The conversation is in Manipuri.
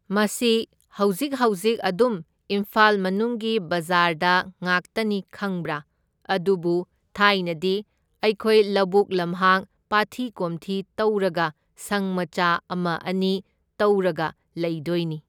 ꯃꯁꯤ ꯍꯧꯖꯤꯛ ꯍꯧꯖꯤꯛ ꯑꯗꯨꯝ ꯏꯝꯐꯥꯜ ꯃꯅꯨꯡꯒꯤ ꯕꯖꯥꯔꯗ ꯉꯥꯛꯇꯅꯤ ꯈꯪꯕ꯭ꯔꯥ, ꯑꯗꯨꯕꯨ ꯊꯥꯏꯅꯗꯤ ꯑꯩꯈꯣꯏ ꯂꯧꯕꯨꯛ ꯂꯝꯍꯥꯡ, ꯄꯥꯠꯊꯤ ꯀꯣꯝꯊꯤ ꯇꯧꯔꯒ ꯁꯪ ꯃꯆꯥ ꯑꯃ ꯑꯅꯤ ꯇꯧꯔꯒ ꯂꯩꯗꯣꯏꯅꯤ꯫